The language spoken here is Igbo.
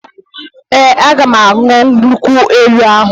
Ee, aga m aṅụ nkwụ elu ahụ